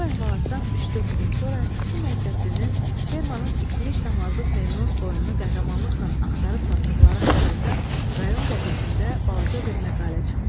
Bu əhvalatdan üç-dörd gün sonra iki məktəblinin fermanın itmiş damazlıq merinoz qoyununu qəhrəmanlıqla axtarıb tapdıqları haqqında rayon qəzetində balaca bir məqalə çıxdı.